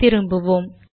திரும்புவோம்